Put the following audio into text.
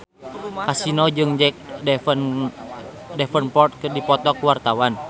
Kasino jeung Jack Davenport keur dipoto ku wartawan